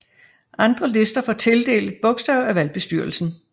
Andre lister får tildelt et bogstav af valgbestyrelsen